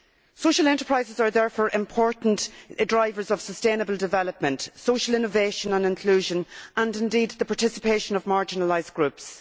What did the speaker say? Social enterprises are therefore important drivers of sustainable development, social innovation and inclusion and indeed the participation of marginalised groups.